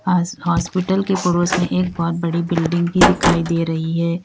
House hospital के पड़ोस में एक बहुत बड़ी बिल्डिंग भी दिखाई दे रही है।